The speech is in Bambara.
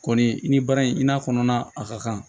Kɔni i ni baara in i n'a fɔ kɔnɔna a ka kan